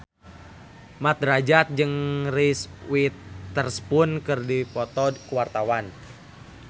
Mat Drajat jeung Reese Witherspoon keur dipoto ku wartawan